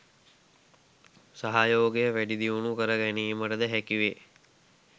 සහයෝගය වැඩි දියුණු කර ගැනීමට ද හැකි වේ